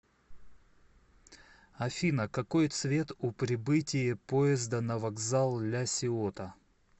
афина какой цвет у прибытие поезда на вокзал ля сиота